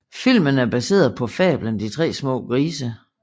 Filmen er baseret på fablen De tre små grise